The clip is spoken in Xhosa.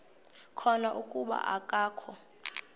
khona kuba akakho